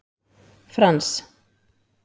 Frans